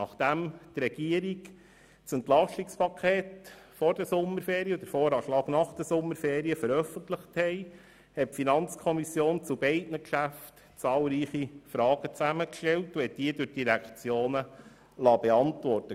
Nachdem die Regierung das EP vor den Sommerferien und den VA nach den Sommerferien veröffentlicht hatte, stellte die FiKo zu beiden Geschäften zahlreiche Fragen zusammen und liess sie von den Direktionen beantworten.